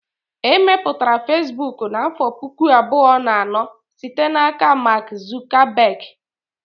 E mepụtara Fesbụụk n'afọ pụkụ abụọ na anọ site n'aka Mark Zuckerberg